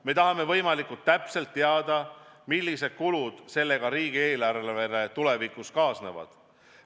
Me tahame võimalikult täpselt ette teada, millised kulud sellega riigieelarvele tulevikus kaasnevad.